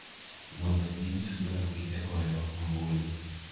mondo ginyis dwarogi e goyo ombulu